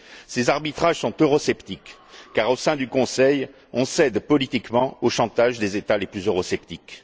Ces arbitrages sont eurosceptiques, car au sein du Conseil, on cède politiquement au chantage des États les plus eurosceptiques.